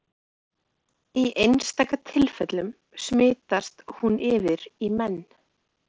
Í einstaka tilfellum smitast hún yfir í menn.